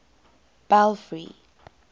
belfry